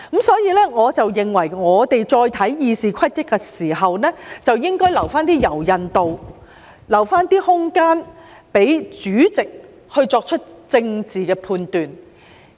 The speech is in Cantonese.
所以，我認為我們再審視《議事規則》的時候，應該留一點柔韌度，留一些空間，讓主席作出政治判斷。